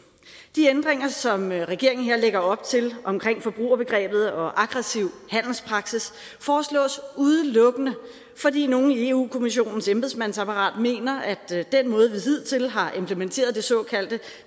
de ændringer som regeringen her lægger op til omkring forbrugerbegrebet og aggressiv handelspraksis foreslås udelukkende fordi nogle i eu kommissionens embedsmandsapparat mener at den måde vi hidtil har implementeret det såkaldte